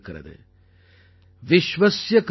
विश्वस्य कृते यस्य कर्मव्यापारः सः विश्वकर्मा |